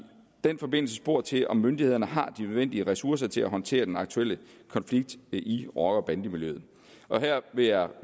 den forbindelse spurgt til om myndighederne har de nødvendige ressourcer til at håndtere den aktuelle konflikt i rocker bande miljøet her vil jeg